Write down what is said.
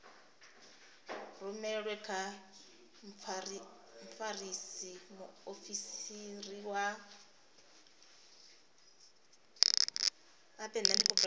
rumelwe kha mfarisa muofisiri wa